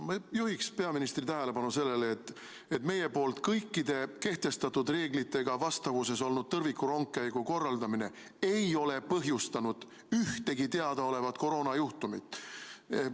Ma ikkagi juhiks peaministri tähelepanu sellele, et meie poolt kõikide kehtestatud reeglitega vastavuses olnud tõrvikurongkäigu korraldamine ei ole põhjustanud ühtegi teadaolevat koroonajuhtumit.